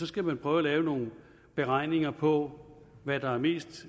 skal prøve at lave nogle beregninger på hvad der er mest